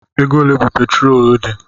Ego ole bụ petrolu di?